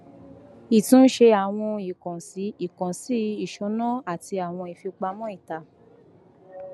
ìtúnṣe àwọn ìkànsí ìkànsí ìṣúná àti awọn ifipamọ ita